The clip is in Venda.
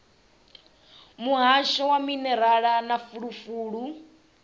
muhasho wa minerala na fulufulu